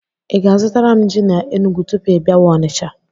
Ị ga-azụtara m ji na Enụgwụ tupu ị bịawa Onicha?